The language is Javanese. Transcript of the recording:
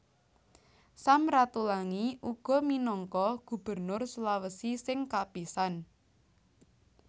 Sam Ratulangi uga minangka Gubernur Sulawesi sing kapisan